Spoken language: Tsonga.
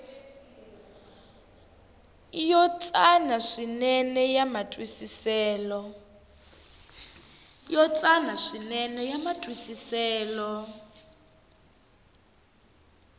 yo tsana swinene ya matwisiselo